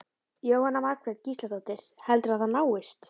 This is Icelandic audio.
Jóhanna Margrét Gísladóttir: Og heldurðu að það náist?